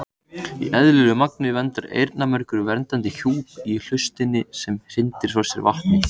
Í eðlilegu magni myndar eyrnamergur verndandi hjúp í hlustinni sem hrindir frá sér vatni.